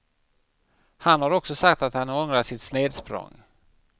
Han har också sagt att han ångrar sitt snedsprång.